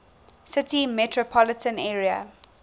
city metropolitan area